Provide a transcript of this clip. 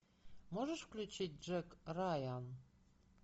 можешь включить джек райан